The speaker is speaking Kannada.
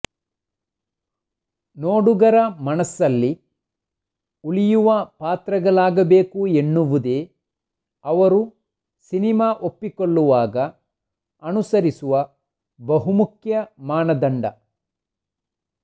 ನೋಡುಗರ ಮನಸಲ್ಲಿ ಉಳಿಯುವ ಪಾತ್ರಗಳಾಗಬೇಕು ಎನ್ನುವುದೇ ಅವರು ಸಿನಿಮಾ ಒಪ್ಪಿಕೊಳ್ಳುವಾಗ ಅನುಸರಿಸುವ ಬಹುಮುಖ್ಯ ಮಾನದಂಡ